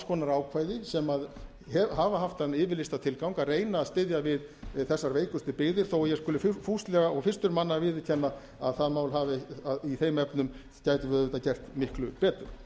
konar ákvæði sem hafa haft þann yfirlýsta tilgang að reyna að styðja við þessar veikustu byggðir þó að ég skuli fúslega og fyrstur manna viðurkenna að í þeim efnum gætum við auðvitað gert miklu betur